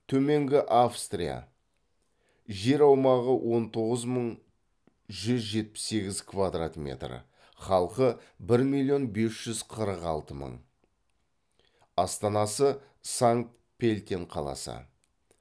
төменгі австрия жер аумағы он тоғыз мың жүз жетпіс сегіз квдрат метр халқы бір миллион бес жүз қырық алты мың астанасы санкт пельтен қаласы